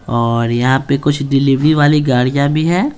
और यहाँ पे कुछ डिलीवरी वाली गाड़ियाँ भी है।